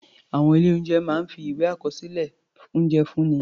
Àwọn ilé-oúnjẹ máa ń fi ìwé àkọsílẹ̀ oúnjẹ fúnni.